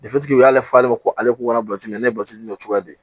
u y'ale falen ko ale ko k'a bɔli ne bɔsi nin cogoya de